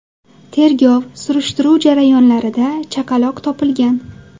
Tergov-surishtiruv jarayonlarida chaqaloq topilgan.